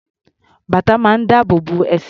Bàtà máa ń dáàbò bo ẹsẹ̀.